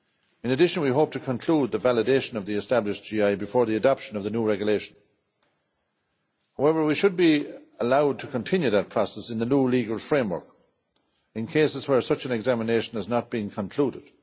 In addition we hope to conclude the validation of the established GI before the adoption of the new regulation. However, we should be allowed to continue that process in the new legal framework in cases where such an examination has not being concluded.